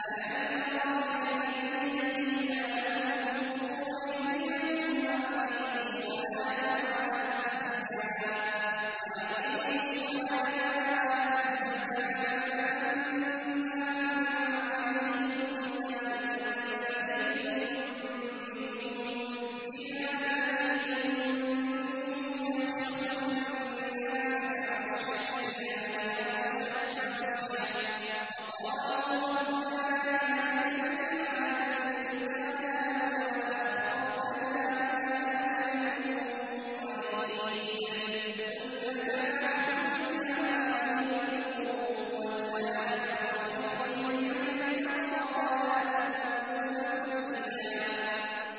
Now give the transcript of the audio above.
أَلَمْ تَرَ إِلَى الَّذِينَ قِيلَ لَهُمْ كُفُّوا أَيْدِيَكُمْ وَأَقِيمُوا الصَّلَاةَ وَآتُوا الزَّكَاةَ فَلَمَّا كُتِبَ عَلَيْهِمُ الْقِتَالُ إِذَا فَرِيقٌ مِّنْهُمْ يَخْشَوْنَ النَّاسَ كَخَشْيَةِ اللَّهِ أَوْ أَشَدَّ خَشْيَةً ۚ وَقَالُوا رَبَّنَا لِمَ كَتَبْتَ عَلَيْنَا الْقِتَالَ لَوْلَا أَخَّرْتَنَا إِلَىٰ أَجَلٍ قَرِيبٍ ۗ قُلْ مَتَاعُ الدُّنْيَا قَلِيلٌ وَالْآخِرَةُ خَيْرٌ لِّمَنِ اتَّقَىٰ وَلَا تُظْلَمُونَ فَتِيلًا